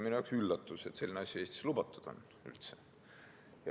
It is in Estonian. Minu jaoks oli üllatus, et selline asi on Eestis üldse lubatud.